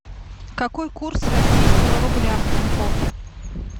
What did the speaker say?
какой курс российского рубля в тинькофф